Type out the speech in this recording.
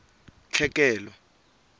tlhekelo